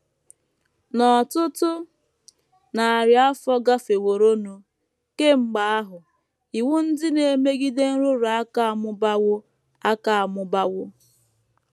N’ọtụtụ narị afọ gafeworonụ kemgbe ahụ, iwu ndị na - emegide nrụrụ aka amụbawo aka amụbawo.